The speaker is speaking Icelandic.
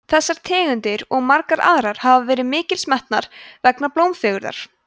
þessar tegundir og margar aðrar hafa verið mikils metnar vegna blómfegurðar